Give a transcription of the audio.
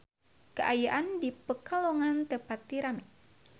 Kaayaan di Pekalongan teu pati rame